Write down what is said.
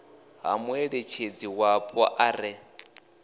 ha muṋetshedzi wapo a re